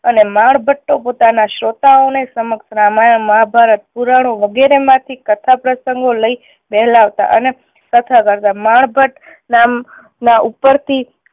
અને માણ ભટ્ટો પોતાના શ્રોતાઓ ને સમક્ષ રામાયણ મહા ભારત પુરાણો વગેરે માંથી કથા પ્રસંગો લઈ વહેલાવતા અને કથા કરતાં માણ ભટ્ટ નામના ઉપર થી